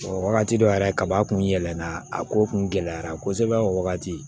Wagati dɔ yɛrɛ kaba kun yɛlɛnna a ko kun gɛlɛyara kosɛbɛ o wagati